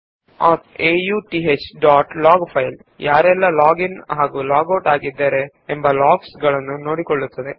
auth dot log ಎಂಬ file ಯಾರು log in ಹಾಗೂ ಲಾಗ್ ಔಟ್ ಆಗುತ್ತಾರೋ ಅವರ ಲಾಗ್ ಗಳನ್ನು ನಿಯಂತ್ರಿಸುತ್ತದೆ